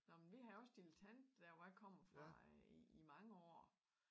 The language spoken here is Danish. Nå men vi havde også dilettant der hvor jeg kommer fra øh i i mange år